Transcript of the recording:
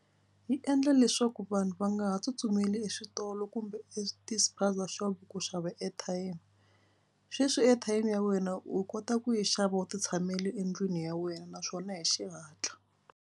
Yi endla leswaku vanhu va nga ha tsutsumeli eswitolo kumbe etispaza shop ku xava airtime. Sweswi airtime ya wena u kota ku yi xava u titshamele endlwini ya wena naswona hi xihatla.